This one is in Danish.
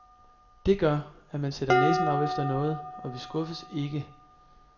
Det gør, at man sætter næsen op efter noget, og vi skuffes ikke.